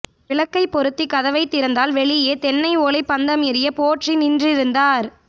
விளக்கைப்பொருத்தி கதவைத் திறந்தால் வெளியே தென்னைஓலைப் பந்தம் எரிய போற்றி நின்றிருந்தார்